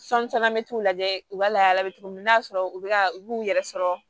Sɔnni caman bɛ t'u lajɛ u ka lahala bɛ cogo min na n'a sɔrɔ u bɛ ka u b'u yɛrɛ sɔrɔ